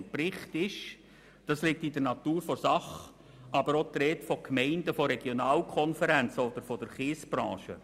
Im Bericht ist aber auch die Rede von Gemeinden und Regionalkonferenzen oder von der Kiesbranche.